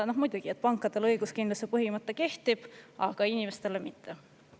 Noh muidugi, pankadele õiguskindluse põhimõte kehtib, aga inimestele mitte.